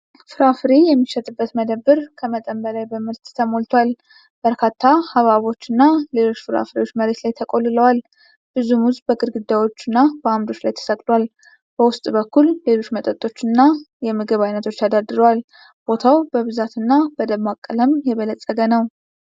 ፍራፍሬ የሚሸጥበት መደብር ከመጠን በላይ በምርት ተሞልቷል። በርካታ ሐብሐቦችና ሌሎች ፍራፍሬዎች መሬት ላይ ተቆልለዋል። ብዙ ሙዝ በግድግዳዎችና በአምዶች ላይ ተሰቅሏል። በውስጥ በኩል ሌሎች መጠጦችና የምግብ ዓይነቶች ተደርድረዋል። ቦታው በብዛትና በደማቅ ቀለም የበለፀገ ነው።